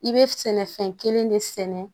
I bɛ sɛnɛfɛn kelen de sɛnɛ